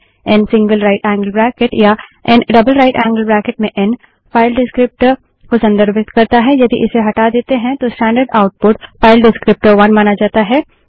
N single right angled bracket या an double right angled bracket में an file descriptor को संदर्भित करता है यदि इसे हटा देते है तो स्टैंडर्ड आउटपुट फाइल डिस्क्रीप्टर1 माना जाता है